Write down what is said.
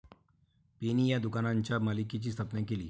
Penny या दुकानांच्या मालिकेची स्थापना केली.